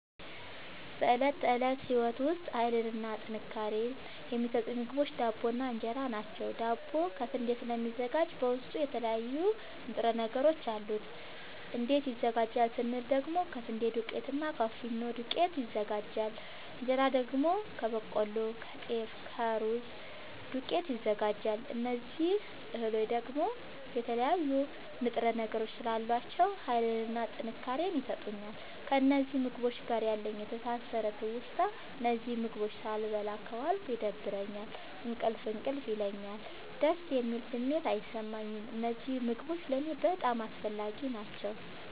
በእለት ተለት ህይወቴ ዉስጥ ሀይልንና ጥንካሬን የሚሠጡኝ ምግቦች ዳቦ እና እን ራ ናቸዉ። ዳቦ ከስንዴ ስለሚዘጋጂ በዉስጡ የተለያዩ ንጥረ ነገሮች አሉት። እንዴት ይዘጋጃል ስንል ደግሞ ከስንዴ ዱቄትና እና ከፊኖ ዱቄት ይዘጋጃል። እንጀራ ደግሞ ከበቆሎ ከጤፍ ከሩዝ ዱቄት ይዘጋጃል። እዚህ እህሎይ ደግሞ የተለያዩ ንጥረ ነገሮች ስላሏቸዉ ሀይልንና ጥንካሬን ይሠጡኛል። ከእነዚህ ምግቦች ጋር ያለኝ የተሣሠረ ትዉስታ እነዚህን ምግቦች ሣልበላ ከዋልኩ ይደብረኛል እንቅልፍ እንቅልፍ ይለኛል። ደስ የሚል ስሜት አይሠማኝም። እነዚህ ምግቦች ለኔ በጣም አስፈላጊናጠቃሚ ናቸዉ።